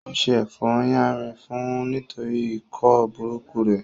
Ó se ẹ̀fọ́ yánrin fún un nítorí ikọ́ burúkú rẹ̀